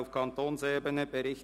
Bauen hat das Wort.